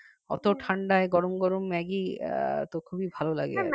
অত ঠান্ডায় গরম গরম ম্যাগি এতো খুবই ভালো লাগে